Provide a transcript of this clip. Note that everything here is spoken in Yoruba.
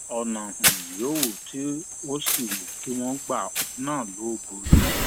ọnà um yòówù tó sì wù kí wọn gba òun um náà ló borí